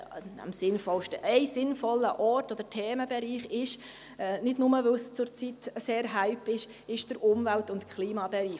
– Ein sinnvoller Ort oder Themenbereich ist – nicht nur, weil es zurzeit ein grosser Hype ist – der Umwelt- und Klimabereich.